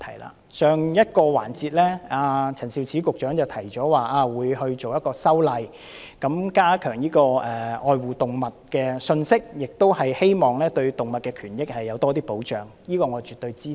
在上一個辯論環節，陳肇始局長提及會作出修例，加強愛護動物的信息，亦希望藉此對動物權益有更多保障，這方面我絕對支持。